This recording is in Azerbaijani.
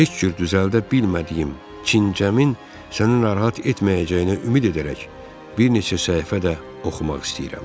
Heç cür düzəldə bilmədiyim kincəmin səni narahat etməyəcəyinə ümid edərək bir neçə səhifə də oxumaq istəyirəm.